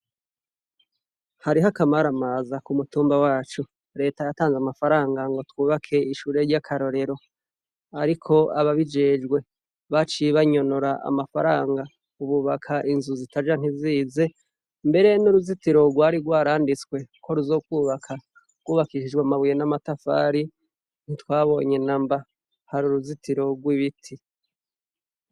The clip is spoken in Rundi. Hariho akamaraamaza ku mutumba wacu. Reta yatanze amafaranga ngo twubake ishure ry'akarorero ariko ababijejwe baciye bayonona, amafaranga ububaka inzu zitaja ntizize mbere n'uruzitiro rwari rwaranditswe koruzo kwubaka wubakishijwe amabuye n'amatafari ntitwabonye inamba hari uruzitiro rw'ibiti.